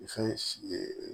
Fɛn